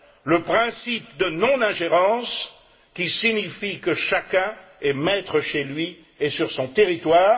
le principe de non ingérence, qui signifie que chacun est maître chez lui et sur son territoire.